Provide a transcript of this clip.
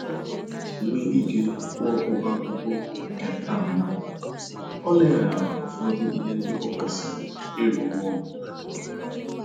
Iji nwee ike kwụọ ụgwọ akwụkwọ nke tem a, o leghara ụfọdụ ihe ndị o kwesịrị ịrụ n'ụlọ anya